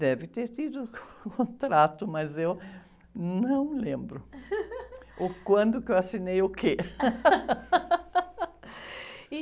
Deve ter tido um contrato, mas eu não lembro o quando que eu assinei o quê.